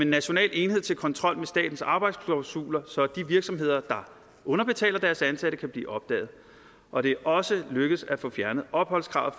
national enhed til kontrol med statens arbejdsklausuler så de virksomheder der underbetaler deres ansatte kan blive opdaget og det er også lykkedes at få fjernet opholdskravet